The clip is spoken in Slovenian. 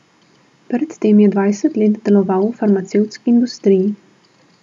Pred tem je dvajset let deloval v farmacevtski industriji.